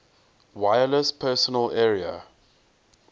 wireless personal area